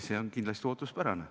See on kindlasti ootuspärane.